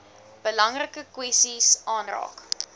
belangrike kwessies aanraak